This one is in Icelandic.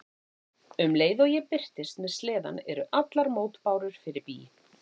Um leið og ég birtist með sleðann eru allar mótbárur fyrir bí.